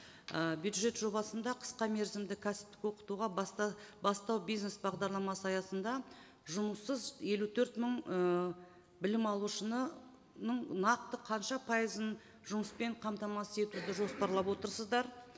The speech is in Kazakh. ы бюджет жобасында қысқа мерзімді кәсіптік оқытуға бастау бизнес бағдарламасы аясында жұмыссыз елу төрт мың ы білім алушыны нақты қанша пайызын жұмыспен қамтамасыз етуді жоспарлап отырсыздар